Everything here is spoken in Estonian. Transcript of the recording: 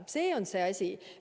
Selles on asi.